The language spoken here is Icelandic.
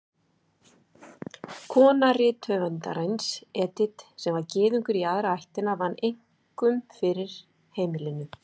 Kona rithöfundarins, Edith, sem var Gyðingur í aðra ættina, vann einkum fyrir heimilinu.